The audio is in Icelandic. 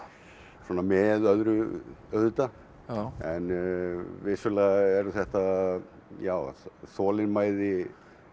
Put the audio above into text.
svona með öðru auðvitað en vissulega eru þetta þolinmæði